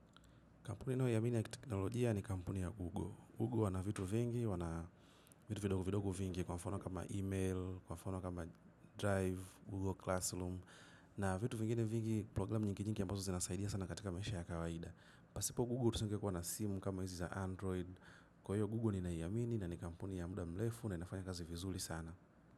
Kampuni nao yamini ya teknolojia ni kampuni ya Google. Google wana vitu vingi, wana vitu vidogo vidogo vingi kwa mfono kama email, kwa mfono kama drive, Google Classroom. Na vitu vingine vingi, programu nyinginyingi ya ambazo zina saidia sana katika maisha ya kawaida. Pasipo Google tusungekuwa na simu kama hizi za Android. Kwa hiyo Google ni nayamini na ni kampuni ya muda mlefu na inafanya kazi vizuli sana.